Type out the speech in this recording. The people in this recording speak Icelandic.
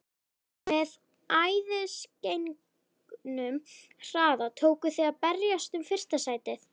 Með æðisgengnum hraða tókuð þið að berjast um fyrsta sætið.